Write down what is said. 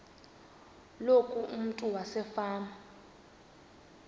loku umntu wasefama